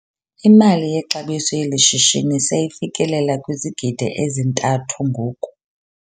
Imali yexabiso yeli shishini seyifikelela kwizigidi ezintathu ngoku.